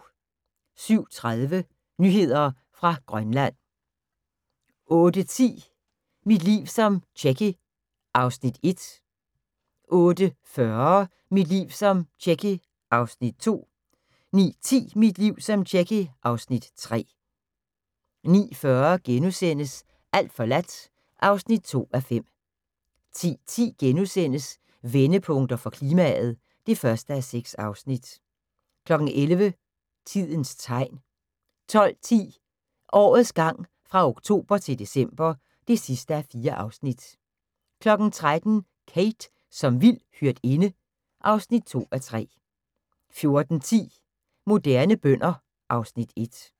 07:30: Nyheder fra Grønland 08:10: Mit liv som Tjekke (Afs. 1) 08:40: Mit liv som Tjekke (Afs. 2) 09:10: Mit liv som Tjekke (Afs. 3) 09:40: Alt forladt (2:5)* 10:10: Vendepunkter for klimaet (1:6)* 11:00: Tidens Tegn 12:10: Årets gang fra oktober til december (4:4) 13:00: Kate som vild hyrdinde (2:3) 14:10: Moderne bønder (Afs. 1)